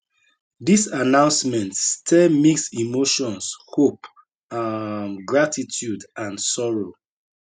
dis announcement stir mixed emotions hope um gratitude and sorrow